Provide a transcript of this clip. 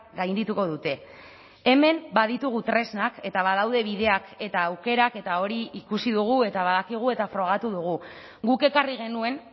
gaindituko dute hemen baditugu tresnak eta badaude bideak eta aukerak eta hori ikusi dugu eta badakigu eta frogatu dugu guk ekarri genuen